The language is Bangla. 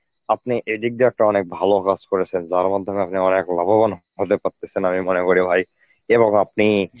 আপনি এদিক দিয়ে একটা অনেক ভালো কাজ করেছেন যার মাধ্যমে আপনি অনেক লাভবান হতে পারতেছেন আমি মনে করি ভাই এবং আপনি